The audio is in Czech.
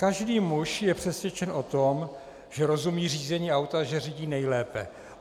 Každý muž je přesvědčen o tom, že rozumí řízení auta, že řídí nejlépe.